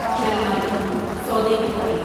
شلمالی سودے کے قریب